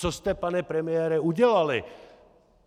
Co jste, pane premiére, udělali?